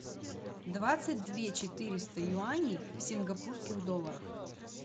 двадцать две четыреста юаней в сингапурских долларах